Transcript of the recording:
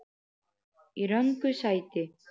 Í röngu sæti.